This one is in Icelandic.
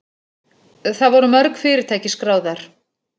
Það voru mörg fyrirtæki skráð þar